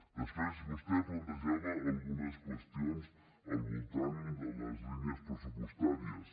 després vostè plantejava algunes qüestions al voltant de les línies pressupostàries